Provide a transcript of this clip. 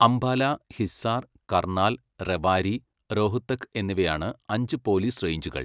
അംബാല, ഹിസ്സാർ, കർണാൽ, റെവാരി, റോഹ്തക് എന്നിവയാണ് അഞ്ച് പോലീസ് റേഞ്ചുകൾ.